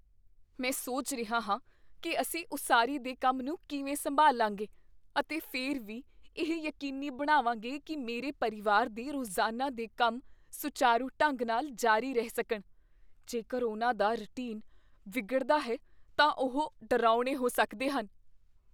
ਮੈਂ ਸੋਚ ਰਿਹਾ ਹਾਂ ਕੀ ਅਸੀਂ ਉਸਾਰੀ ਦੇ ਕੰਮ ਨੂੰ ਕਿਵੇਂ ਸੰਭਾਲਾਂਗੇ ਅਤੇ ਫਿਰ ਵੀ ਇਹ ਯਕੀਨੀ ਬਣਾਵਾਂਗੇ ਕੀ ਮੇਰੇ ਪਰਿਵਾਰ ਦੇ ਰੋਜ਼ਾਨਾ ਦੇ ਕੰਮ ਸੁਚਾਰੂ ਢੰਗ ਨਾਲ ਜਾਰੀ ਰਹਿ ਸਕਣ। ਜੇਕਰ ਉਨ੍ਹਾਂ ਦਾ ਰੁਟੀਨ ਵਿਗੜਦਾ ਹੈ ਤਾਂ ਉਹ ਡਰਾਉਣੇ ਹੋ ਸਕਦੇ ਹਨ।